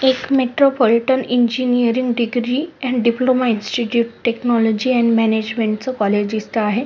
एक metropolitan engineering degree आणि diploma institute technology आणि मॅनेजमेंट च कॉलेज दिसत आहे.